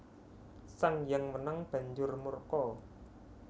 Sang Hyang Wenang banjur murka